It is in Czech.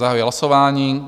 Zahajuji hlasování.